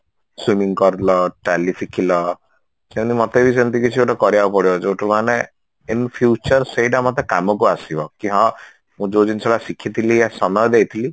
swimming କରିଲ tally ଶିଖିଲ ସେମିତି ମୋତେ ବି ସେମତି କିଛି ଗୋଟେ କରିବାକୁ ପଡିବ ଯଉଠୁ ମାନେ in future ସେଇଟା ମୋତେ କାମକୁ ଆସିବ କି ହଁ ମୁଁ ଯଉ ଜିନିଷଟା ଶିଖିଥିଲି ଆଉ ସମୟ ଦେଇଥିଲି